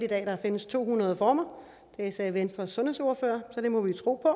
at der findes to hundrede former det sagde venstres sundhedsordfører så det må vi tro på